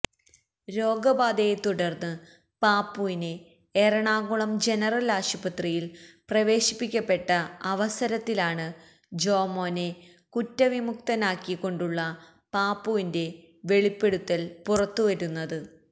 രോഗബാധയെത്തുടർന്ന് പാപ്പുവിനെ എറാണകുളം ജനറൽ ആശുപത്രിയിൽ പ്രവേശിപ്പിക്കപ്പെട്ട അവസരത്തിലാണ് ജോമോനെ കുറ്റവിമുക്തനാക്കിക്കൊണ്ടുള്ള പാപ്പുവിന്റെ വെളിപ്പെടുത്തൽ പുറത്തുവരുന്നത്